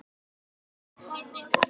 Það er kannski einhver annar.